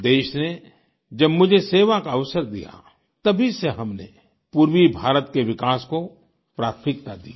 देश ने जब मुझे सेवा का अवसर दिया तभी से हमने पूर्वी भारत के विकास को प्राथमिकता दी है